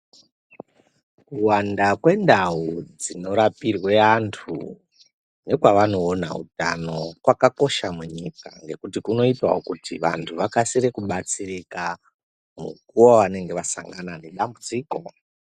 Kuwanda kwendau dzinorapirwe antu nekwavanoona utano kwakakosha munyika ngekuti kunoitawo kuti vantu vakasire kubatsirika mukuwo wavanenge vasangana nedambudziko.